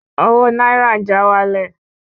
Owó náírà ń já wálẹ̀